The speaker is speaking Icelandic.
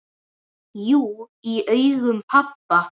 Jú, í augum pabba